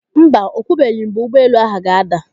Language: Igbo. Mba, o kwubeghi mgbe ụgbọelu ahụ ga-ada.